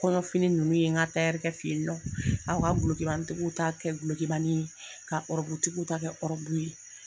Kɔɲɔfini ninnu ye n ka tayɛrikɛ fɛ yen, ka golokibatigiw ta kɛ golokibanin ye ka rɔbutigiw ta kɛ rɔbunin ye.